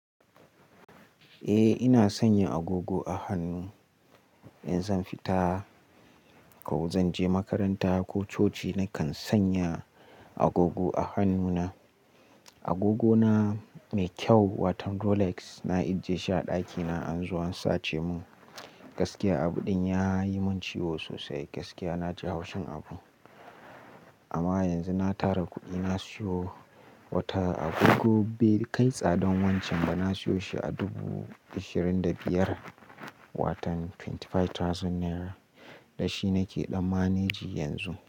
Eh ina sanya agogo a hannu. In zan fita ko zan je makaranta ko coci nakan sanya agogo a hannuna. Agogona mai kyau watan Rolex na ajie shi a ɗakina an zo an sace mun. Gaskiya abu ɗin yayi mun ciwo sosai. Gaskiya na ji haushin abu. Amma yanzu na tara kuɗi na siyo wata agogo bai kai tsadan wancan ba. Na siyo shi a dubu ashirin da biyar watan twenty five thousand naira. Da shi nake ɗamanaji yanzu.